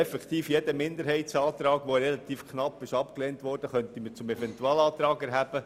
Jetzt könnten wir tatsächlich jeden, relativ knapp abgelehnten Minderheitsantrag zum Eventualantrag erheben.